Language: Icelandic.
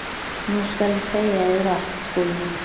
Nú skal ég segja yður allt, Skúli minn.